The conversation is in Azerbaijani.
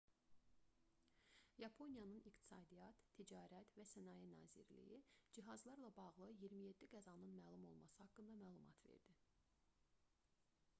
yaponiyanın i̇qtisadiyyat ticarət və sənaye nazirliyi cihazlarla bağlı 27 qəzanın məlum olması haqqında məlumat verdi